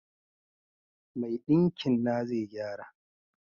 Mai dinkin na zai gyara.